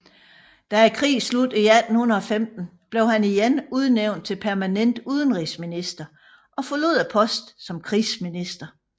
Da krigen sluttede i 1815 blev han igen udnævnt til permanent udenrigsminister og forlod posten som krigsminister